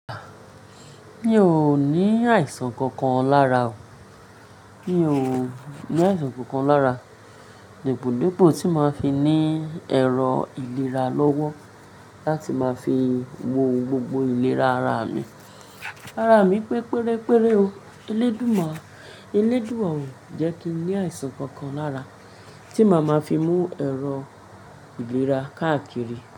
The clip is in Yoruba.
Mi ò ní àìsàn kankan lára o. Mi ò ní àìsàn kankan lára. Dípòdípò tí máa ń fi ní ẹ̀rọ ìlera lọ́wọ́ láti máa fi wo gbogbo ìlera ara mi. Ara mi pe pérépéré o. Elédùn máa, elédùwa ọ̀ jẹ́ kí n ní àìsàn kankan lára tí màá máa fi mú ẹ̀rọ ìlera káàkiri.